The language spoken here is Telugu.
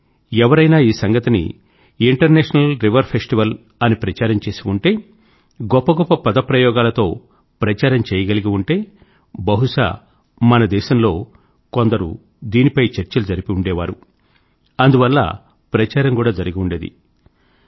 కానీ ఎవరైనా ఈ సంగతిని ఇంటర్నేషనల్ రివర్ ఫెస్టివల్ అని ప్రచారం చేసి ఉంటే గొప్ప గొప్ప పద ప్రయోగాలతో ప్రచారం చేయగలిగి ఉంటే బహుశా మన దేశంలో కొందరు దీనిపై చర్చలు జరిపి ఉండేవారు అందువల్ల ప్రచారం కూడా జరిగి ఉండేది